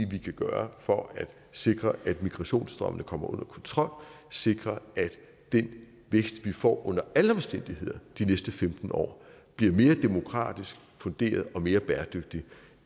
vi kan gøre for at sikre at migrationsstrømmene kommer under kontrol sikre at den vækst vi får under alle omstændigheder de næste femten år bliver mere demokratisk funderet og mere bæredygtig